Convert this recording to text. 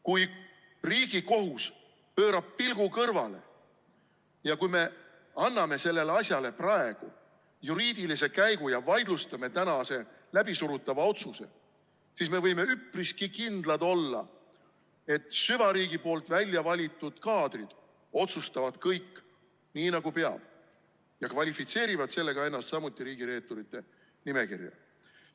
Kui Riigikohus pöörab pilgu kõrvale, ja kui me anname sellele asjale praegu juriidilise käigu ja vaidlustame tänase läbisurutava otsuse, siis me võime üpriski kindlad olla, et süvariigi poolt väljavalitud kaadrid otsustavad kõik, nii nagu peab, ja kvalifitseerivad sellega ennast samuti riigireeturite nimekirja.